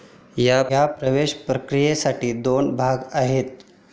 या प्रवेश प्रक्रियेसाठी दोन भाग आहेत.